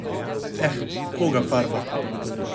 Eh, koga farba?